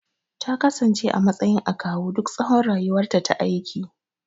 Takasance a matsayin akawu duk tsawon rayuwarta ta aiki